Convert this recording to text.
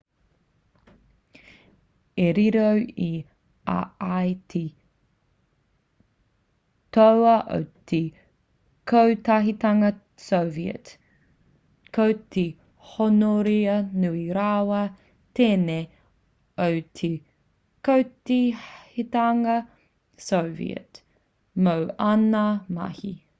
i riro i a ia te toa o te kotahitanga soviet ko te hōnore nui rawa tēnei o te kotahitanga soviet mō āna mahi